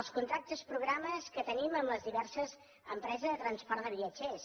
els contractes programa que tenim amb les diverses empreses de transport de viatgers